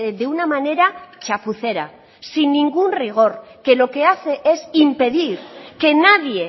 de una manera chapucera sin ningún rigor que lo que hace es impedir que nadie